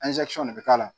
de be k'a la